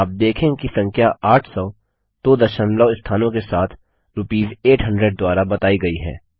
आप देखेंगे कि संख्या 800 दो दशमलव स्थानों के साथ रूपीस 800 द्वारा बताई गई है